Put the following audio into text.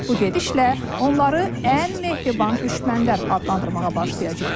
Bu gedişlə onları ən mehriban düşmənlər adlandırmağa başlayacağıq.